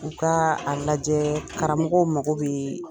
U ka a lajɛ karamɔgɔw mago bɛ